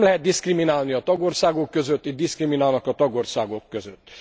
Nem lehet diszkriminálni a tagországok között, itt diszkriminálnak a tagországok között.